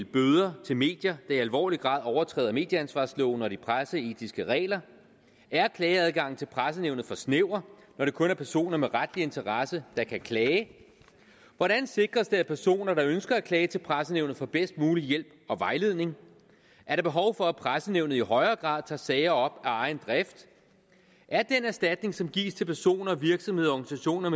bøder til medier der i alvorlig grad overtræder medieansvarsloven og de presseetiske regler er klageadgangen til pressenævnet for snæver når det kun er personer med retlig interesse der kan klage hvordan sikres det at personer der ønsker at klage til pressenævnet får bedst mulig hjælp og vejledning er der behov for at pressenævnet i højere grad tager sager op af egen drift er den erstatning som gives til personer virksomheder organisationer